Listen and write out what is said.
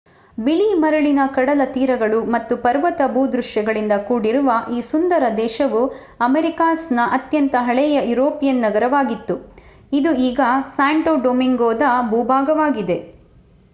ಬಿಳಿ ಮರಳಿನ ಕಡಲತೀರಗಳು ಮತ್ತು ಪರ್ವತ ಭೂದೃಶ್ಯಗಳಿಂದ ಕೂಡಿರುವ ಈ ಸುಂದರ ದೇಶವು ಅಮೆರಿಕಾಸ್‌ನ ಅತ್ಯಂತ ಹಳೆಯ ಯುರೋಪಿಯನ್ ನಗರವಾಗಿತ್ತು ಇದು ಈಗ ಸ್ಯಾಂಟೋ ಡೊಮಿಂಗೊದ ಭೂಭಾಗವಾಗಿದೆ